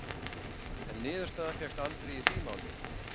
En niðurstaða fékkst aldrei í því máli.